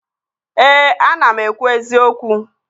Ee, ana m ekwu eziokwu